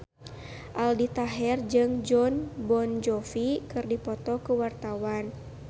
Aldi Taher jeung Jon Bon Jovi keur dipoto ku wartawan